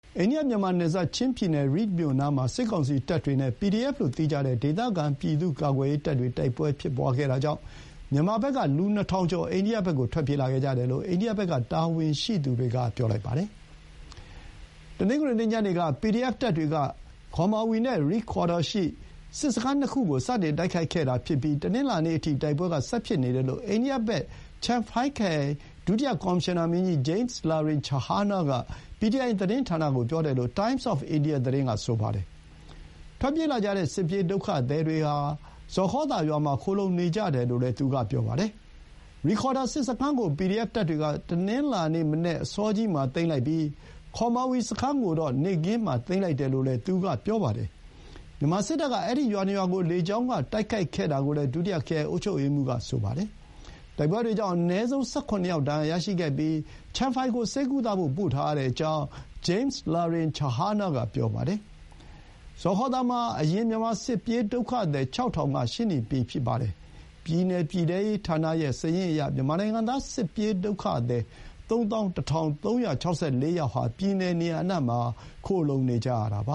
အိန္ဒိယ မြန်မာနယ်စပ် ချင်းပြည်နယ် ရိဒ်မြို့နားမှာ စစ်ကောင်စီတပ်တွေ နဲ့ PDF လို့သိကြတဲ့ ဒေသခံ ပြည်သူ့ကာကွယ်ရေးတပ်တွေ တိုက်ပွဲဖြစ်ခဲ့တာကြောင့် မြန်မာဘက်က လူ ၂,၀၀၀ ကျော် အိန္ဒိယဘက်ကို ထွက်ပြေးလာခဲ့ကြတယ်လို့ အိန္ဒိယဘက်က တာဝန်ရှိသူတွေက ပြောပါတယ်။ တနင်္ဂနွေနေ့ ညနေက ပီဒီအက်ဖ်တပ်တွေက ခေါမာဝီ နဲ့ ရိခေါ်ဒါ ရှိ စစ်စခန်း ၂ ခု ကို စတင်တိုက်ခိုက်ခဲ့ပြီး တနင်္လာနေ့အထိ တိုက်ပွဲဆက်ဖြစ်နေတယ်လို့ အိန္ဒိယဘက် ချမ်ဖိုင် Champhai ခရိုင် ဒုတိယ ကော်မရှင်နာ ဂျိမ်းလာရင်ချဟာနာ (James Lalrinchhana) က PTI သတင်းဌာနကို ပြောကြောင်း Times of India သတင်းက ဆိုပါတယ်။ ထွက်ပြေးလာကြတဲ့ စစ်ပြေးဒုက္ခသည်တွေဟာ ဇော်ခေါသာရွာမှာ ခိုလှုံနေကြတယ်လို့လည်း သူက ဆိုပါတယ်။ ရိခေါဒါ စစ်စခန်း ကို ပီဒီအက်ဖ်တပ်တွေက တနင်္လာနေ့ မနက်အစောကြီးမှာသိမ်းလိုက်ပြီး ခေါမာဝီစခန်းကိုတော့ နေ့ခင်းမှာသိမ်းလိုက်တယ်လို့လည်း သူက ပြောပါတယ်။ မြန်မာစစ်တပ်က အဲဒီရွာနှစ်ရွာကို လေကြောင်းကတိုက်ခိုက်ခဲ့တာကိုလည်း ဒုတိယ ခရိုင် အုပ်ချုပ်ရေးမှူးက ပြောပါတယ်။ တိုက်ပွဲတွေကြောင့် အနည်းဆုံး ၁၇ ယောက် ဒဏ်ရာရရှိခဲ့ပြီး ချမ်ဖိုင် (Champhai) ကို ဆေးကုသဖို့ ပို့ထားရကြောင်း ဂျိမ်းလာရင်ချဟာနာ (James Lalrinchhana) က ပြောပါတယ်။ ဇော်ခေါသာမှာ အရင် မြန်မာစစ်ပြေးဒုက္ခသည် ၆,၀၀၀ က ရှိနှင့်ပြီးဖြစ်ပါတယ်။ ပြည်နယ်ပြည်ထဲရေးဌာနရဲ့စာရင်းအရ မြန်မာနိုင်ငံသား စစ်ပြေးဒုက္ခသည် ၃၁,၃၆၄ ယောက်ဟာ ပြည်နယ် နေရာအနှံ့မှာ ခိုလှုံနေကြရတာပ